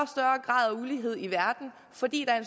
grad af ulighed i verden fordi der er